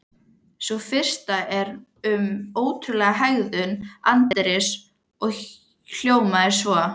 Sú fyrsta er um ótrúlega hegðun anddyris og hljóðar svo: